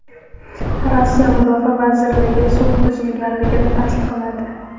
Rossiya Mudofaa vazirligi sulh buzilganligini tasdiqladi.